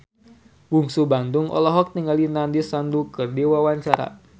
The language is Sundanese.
Bungsu Bandung olohok ningali Nandish Sandhu keur diwawancara